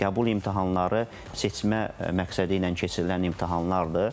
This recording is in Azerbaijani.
Qəbul imtahanları seçmə məqsədi ilə keçirilən imtahanlardır.